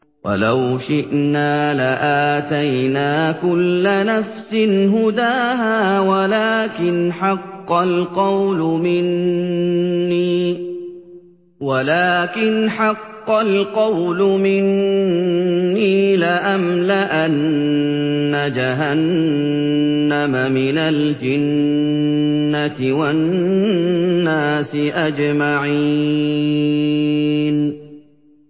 وَلَوْ شِئْنَا لَآتَيْنَا كُلَّ نَفْسٍ هُدَاهَا وَلَٰكِنْ حَقَّ الْقَوْلُ مِنِّي لَأَمْلَأَنَّ جَهَنَّمَ مِنَ الْجِنَّةِ وَالنَّاسِ أَجْمَعِينَ